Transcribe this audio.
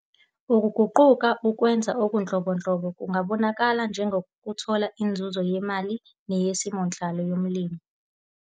Ukuguquka, ukwenza okunhlobonhlobo kungabonakala njengokuthola inzuzo yemali neyesimonhlalo yomlimi.